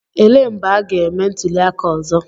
Elee mgbe a ga-eme ntuliaka ọzọ?